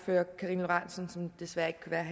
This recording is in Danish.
det så